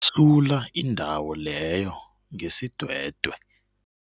Sula indawo leyo ngesidwedwe.